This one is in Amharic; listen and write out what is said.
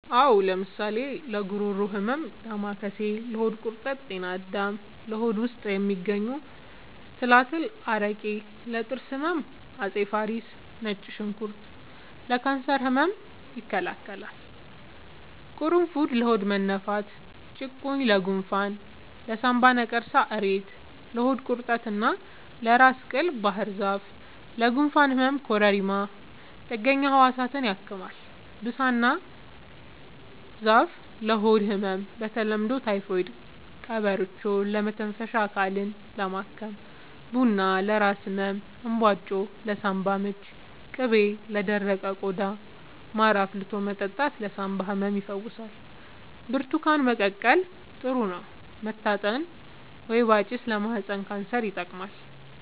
አዎ ለምሳሌ ለጉሮሮ ህመም ዳማከሴ ለሆድ ቁርጠት ጤና አዳም ለሆድ ውስጥ የሚገኙ ትላትል አረቄ ለጥርስ ህመም አፄ ፋሪስ ነጭ ሽንኩርት ለካንሰር ህመም ይከላከላል ቁሩፉድ ለሆድ መነፋት ጭቁኝ ለጎንፋን ለሳንባ ነቀርሳ እሬት ለሆድ ቁርጠት እና ለራስ ቅል ባህርዛፍ ለጉንፋን ህመም ኮረሪማ ጥገኛ ህዋሳትን ያክማል ብሳና ዛፍ ለሆድ ህመም በተለምዶ ታይፎድ ቀበርቿ ለመተንፈሻ አካልን ለማከም ቡና ለራስ ህመም እንባጮ ለሳንባ ምች ቅቤ ለደረቀ ቆዳ ማር አፍልቶ መጠጣት ለሳንባ ህመም ይፈውሳል ብርቱካን መቀቀል ጥሩ ነው መታጠን ወይባ ጭስ ለማህፀን ካንሰር ይጠቅማል